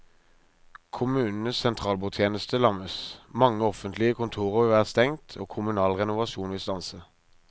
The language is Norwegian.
Kommunenes sentralbordtjeneste lammes, mange offentlige kontorer vil være stengt og kommunal renovasjon vil stanse.